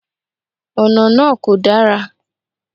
Ònà náà kò dára